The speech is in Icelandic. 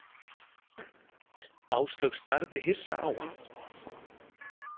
Áslaug starði hissa á hann.